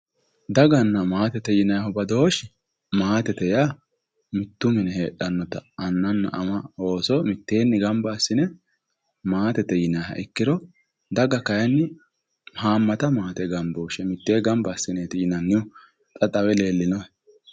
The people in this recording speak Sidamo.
Daganna maatete yinayiihu badooshshi maatete yaa mitto mine heedhannota anna ama ooso mitteenni gamba assine maatete yinayiiha ikkiro daga kayeenni haammata maate gamba assine yinannite xa xawe leellinohe